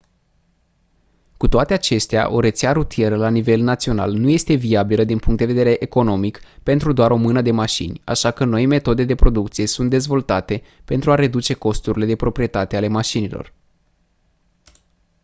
cu toate acestea o rețea rutieră la nivel național nu este viabilă din punct de vedere economic pentru doar o mână de mașini așa că noi metode de producție sunt dezvoltate pentru a reduce costurile de proprietate ale mașinilor